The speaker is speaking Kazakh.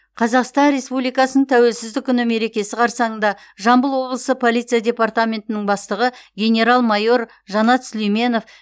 қазақстан республикасының тәуелсіздік күні мерекесі қарсаңында жамбыл облысы полиция департаментінің бастығы генерал майор жанат сүлейменов